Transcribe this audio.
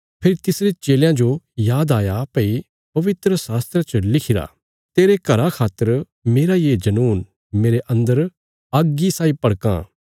फेरी तिसरे चेलयां जो याद आया भई पवित्रशास्त्रा च लिखिरा तेरे घरा खातर मेरा ये जनून मेरे अन्दर अग्गी साई भड़कां